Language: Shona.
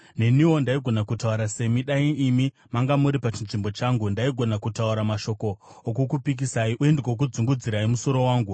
Neniwo ndaigona kutaura semi, dai imi manga muri pachinzvimbo changu; ndaigona kutaura mashoko okukupikisai uye ndigokudzungudzirai musoro wangu.